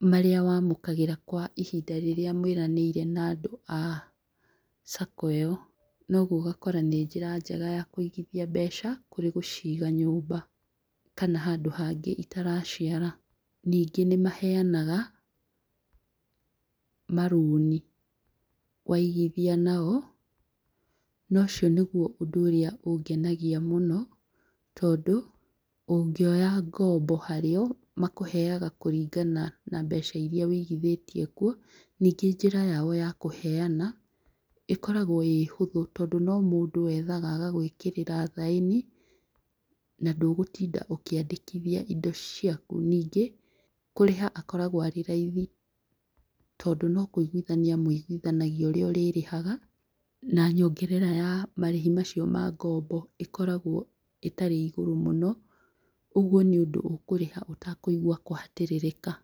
marĩa wamũkagĩra kwa ihinda rĩrĩa mwĩranĩire na andũ a Sacco ĩyo. Noguo ũgakora nĩ njĩra njega ya kũigithia mbeca kũrĩ gũciga nyũmba kana handũ hangĩ itara ciara. Ningĩ nĩ maheanaga marũni, waigithia nao. Nocio nĩguo ũndũ ũrĩa ũngenagia mũno, tondũ ũngĩoya ngombo harĩ o makũheaga kũringana na mbeca iria wĩigithĩtie kuo. Ningĩ njĩra yao ya kũheana ĩkoragwo ĩĩ hũthũ tondũ no mũndũ wethaga agagwĩkĩrĩra thaĩni, na ndũgũtinda ũkĩandĩkĩthia indo ciaku. Ningĩ, kũrĩha akoragwo arĩ raithi, tondũ no kũiguithania mũiguithanagia ũrĩa ũrĩ rĩhaga na nyongerera ya marĩhi macio ma ngombo ĩkoragwo ĩtarĩ igũrũ mũno, ũguo nĩ ũndũ ũkũrĩha ũtakũigua kũhatĩrĩrĩka.